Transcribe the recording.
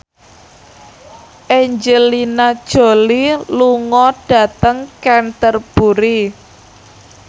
Angelina Jolie lunga dhateng Canterbury